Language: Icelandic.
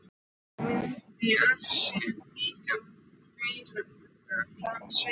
Og mynd af sér líka meira að segja.